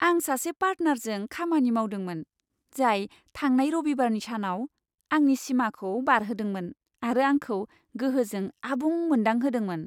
आं सासे पार्टनारजों खामानि मावदोंमोन, जाय थांनाय रबिबारनि सानाव आंनि सिमाखौ बारहोदोंमोन आरो आंखौ गोहोजों आबुं मोनदांहोदोंमोन।